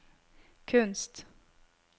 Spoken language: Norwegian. kunst